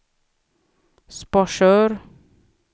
Sparsör